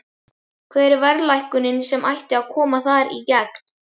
Hvar er verðlækkunin sem ætti að koma þar í gegn?